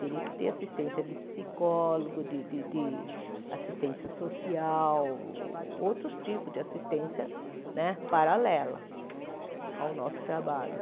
Teria que ter assistência de psicólogo, de de de assistência social, outros tipos de assistência né paralela ao nosso trabalho.